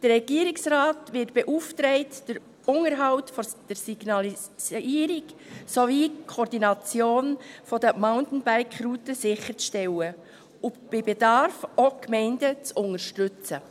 Der Regierungsrat wird beauftragt, den Unterhalt der Signalisierung sowie die Koordination der Mountainbike-Routen sicherzustellen und bei Bedarf auch die Gemeinden zu unterstützen.